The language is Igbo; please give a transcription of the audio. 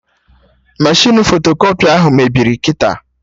Meshịn fotokọpị ahụ mebiri kịta